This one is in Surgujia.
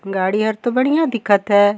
गाड़ी हर तो बढ़िया दिखत हैं।